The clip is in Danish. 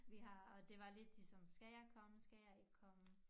Vi har og det var lidt ligesom skal jeg komme skal jeg ikke komme